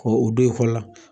Ko o don i kɔ la.